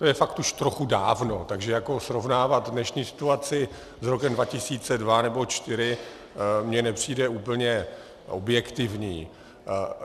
To je fakt už trochu dávno, takže srovnávat dnešní situaci s rokem 2002 nebo 2004 mi nepřijde úplně objektivní.